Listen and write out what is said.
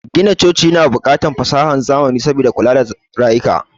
Gina coci na bukatar fasahan zamani saboda kula da rayuka